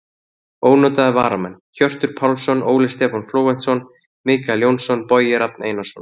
Ónotaðir varamenn: Hjörtur Pálsson, Óli Stefán Flóventsson, Michael Jónsson, Bogi Rafn Einarsson.